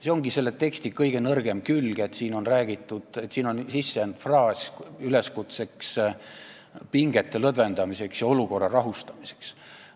See ongi selle teksti kõige nõrgem külg, siia on sisse jäänud fraas üleskutsega pingete lõdvendamiseks ja olukorra rahustamiseks.